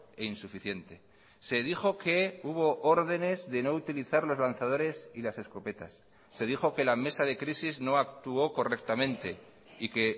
e insuficiente se dijo que hubo órdenes de no utilizar los lanzadores y las escopetas se dijo que la mesa de crisis no actuó correctamente y que